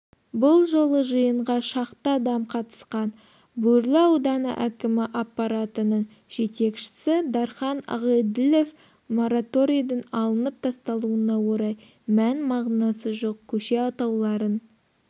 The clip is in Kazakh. бұл жолы жиынға шақты адам қатысқан бөрлі ауданы әкімі аппаратының жетекшісі дархан ағеділов мораторидің алынып тасталуына орай мән-мағынасы жоқ көше атауларын